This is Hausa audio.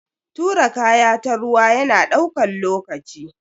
Tura kaya ta ruwa yana daukan lokaci.